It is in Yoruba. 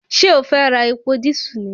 Ṣé o fẹ́ ra epo dísù ni